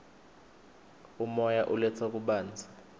umoya uletsa kubanza